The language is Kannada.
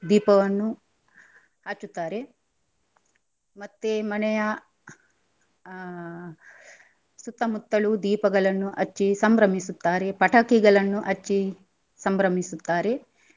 ದೀಪವನ್ನು ಹಚ್ಚುತ್ತಾರೆ ಮತ್ತೆ ಮನೆಯ ಆ ಸುತ್ತಮುತ್ತಲು ದೀಪಗಳನ್ನು ಹಚ್ಚಿ ಸಂಭ್ರಮಿಸುತ್ತಾರೆ, ಪಟಾಕಿಗಳನ್ನು ಹಚ್ಚಿ ಸಂಭ್ರಮಿಸುತ್ತಾರೆ.